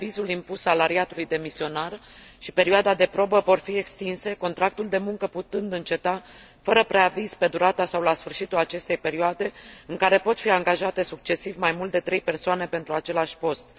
Preavizul impus salariatului demisionar și perioada de probă vor fi extinse, contractul de muncă putând înceta fără preaviz pe durata sau la sfârșitul acestei perioade, în care pot fi angajate succesiv mai mult de trei persoane pentru același post.